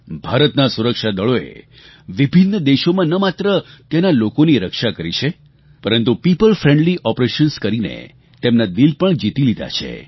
ભારતના સુરક્ષાદળોએ વિભિન્ન દેશોમાં ન માત્ર ત્યાંના લોકોની રક્ષા કરી છે પરંતુ પીઓપલ ફ્રેન્ડલી ઓપરેશન્સ કરીને તેમના દિલ પણ જીતી લીધા છે